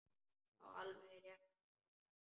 Já, alveg rétt hrópaði mamma.